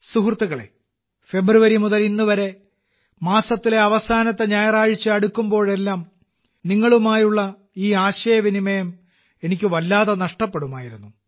സുഹൃത്തുക്കളേ ഫെബ്രുവരി മുതൽ ഇന്നുവരെ മാസത്തിലെ അവസാന ഞായറാഴ്ച അടുക്കുമ്പോഴെല്ലാം നിങ്ങളുമായുള്ള ഈ ആശയവിനിമയം എനിക്ക് വല്ലാതെ നഷ്ടപ്പെടുമായിരുന്നു